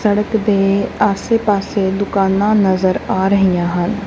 ਸੜਕ ਦੇ ਆਸੇ ਪਾੱਸੇ ਦੁਕਾਨਾਂ ਨਜ਼ਰ ਆ ਰਹੀਆਂ ਹਨ।